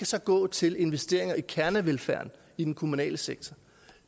så gå til investeringer i kernevelfærden i den kommunale sektor